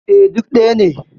E, duk ɗaya ne.